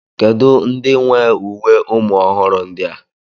Kedu ndị nwe uwe ụmụ ọhụrụ ndi a?